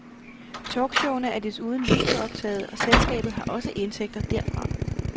Talkshowene er desuden videooptaget og selskabet har også indtægter derfra.